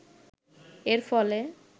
এর ফলে